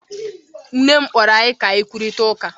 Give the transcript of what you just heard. Nne m kpọrọ m ka anyị kwurịta okwu.